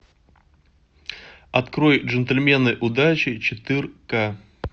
открой джентльмены удачи четырка